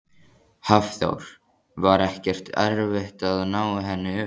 Hafþór: Var ekkert erfitt að ná henni upp?